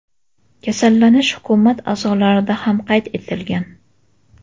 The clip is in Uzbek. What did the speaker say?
Kasallanish hukumat a’zolarida ham qayd etilgan.